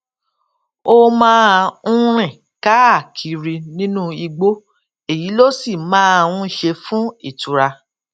ó máa ń rìn káàkiri nínú igbó èyí ló sì máa ń ṣe fún ìtura